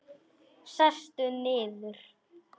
Sestu niður.